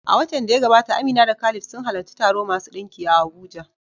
A watan da ya gabata, Amina da Khalid sun halarci taro masu ɗinki a Abuja.